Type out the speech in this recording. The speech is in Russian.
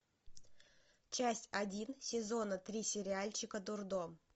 часть один сезона три сериальчика дурдом